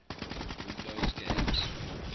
windows games